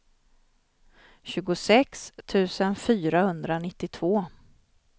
tjugosex tusen fyrahundranittiotvå